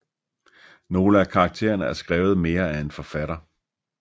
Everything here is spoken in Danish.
Nogle af karakterene er skrevet mere af en forfatter